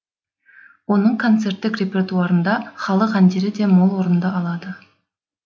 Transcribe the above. оның концерттік репертуарында халық әндері де мол орын алды